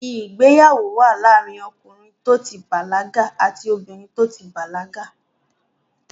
Ìgbéyàwó wà ní àárín ọkìnrin tó ti bàlágà àti obìnrin tó ti bàlágà.